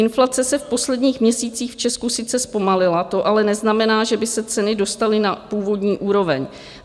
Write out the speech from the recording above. Inflace se v posledních měsících v Česku sice zpomalila, to ale neznamená, že by se ceny dostaly na původní úroveň.